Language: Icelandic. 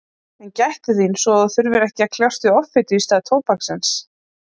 En gættu þín svo að þú þurfir ekki að kljást við offitu í stað tóbaksins.